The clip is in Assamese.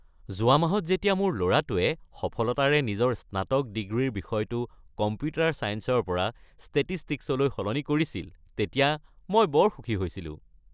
যোৱা মাহত যেতিয়া মোৰ ল’ৰাটোৱে সফলতাৰে নিজৰ স্নাতক ডিগ্ৰীৰ বিষয়টো কম্পিউটাৰ ছায়েন্সৰ পৰা ষ্টেটিষ্টিক্সলৈ সলনি কৰিছিল তেতিয়া মই বৰ সুখী হৈছিলোঁ।